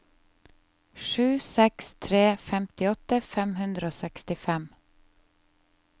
sju seks tre seks femtiåtte fem hundre og sekstifem